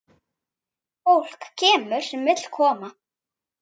Fólk kemur sem vill koma.